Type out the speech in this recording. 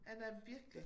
Ja den den er virkelig